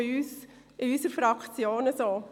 Das ist auch in unserer Fraktion so.